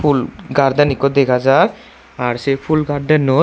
phul garden eko degajar ar sey phul gardenot.